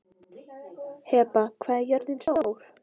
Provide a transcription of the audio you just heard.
Heba, hvað er jörðin stór?